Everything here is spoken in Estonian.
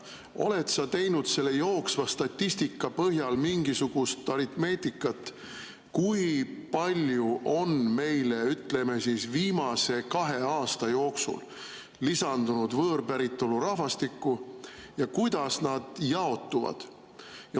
Oled sa teinud selle jooksva statistika põhjal mingisugust aritmeetikat, kui palju on meile, ütleme siis, viimase kahe aasta jooksul lisandunud võõrpäritolu rahvastikku ja kuidas nad jaotuvad?